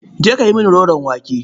Je ka yi mini roron wake.